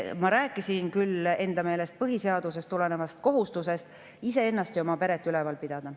Ma rääkisin küll enda meelest põhiseadusest tulenevast kohustusest iseennast ja oma peret üleval pidada.